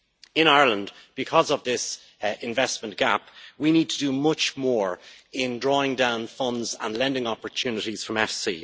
In Ireland, because of this investment gap, we need to do much more in drawing down funds and lending opportunities from EFSI.